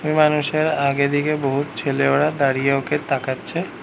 ওই মানুষের আগেদিকে বহুত ছেলে ওরা দাঁড়িয়ে ওকে তাকাচ্ছে।